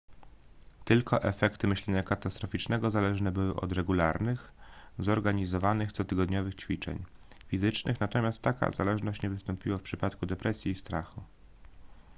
tylko efekty myślenia katastroficznego zależne były od regularnych zorganizowanych cotygodniowych ćwiczeń fizycznych natomiast taka zależność nie wystąpiła w przypadku depresji i strachu